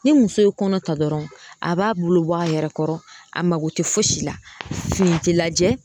Ni muso ye kɔnɔ ta dɔrɔn a b'a bolo bɔ a yɛrɛ kɔrɔ, a mako tɛ fosi la, fini ti lajɛ